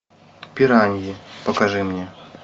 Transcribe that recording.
пираньи покажи мне